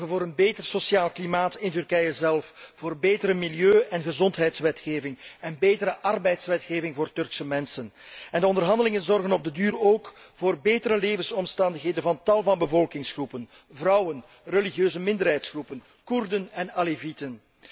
Ze zorgen voor een beter sociaal klimaat in Turkije zelf, voor betere milieu en gezondheidswetgeving en betere arbeidswetgeving voor Turkse mensen. De onderhandelingen zorgen op den duur ook voor betere levensomstandigheden voor tal van bevolkingsgroepen vrouwen, religieuze minderheidsgroepen, Koerden en Alevieten.